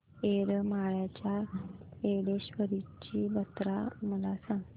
येरमाळ्याच्या येडेश्वरीची जत्रा मला सांग